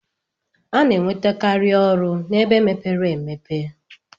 Ana enwete kari ọlụ ebe mepere emepe.